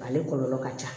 Ale kɔlɔlɔ ka ca